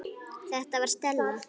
Þetta var Stella.